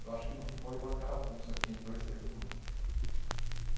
Eu acho que não foi uma carapuça que entrou e serviu não.